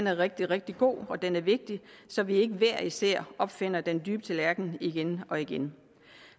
er rigtig rigtig god og den er vigtig så vi ikke hver især opfinder den dybe tallerken igen og igen